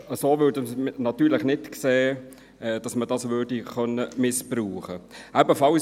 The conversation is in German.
Wir sehen es natürlich nicht so, dass diese missbraucht werden sollte.